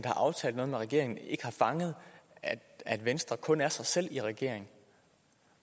har aftalt noget med regeringen ikke har fanget at venstre kun er sig selv i regeringen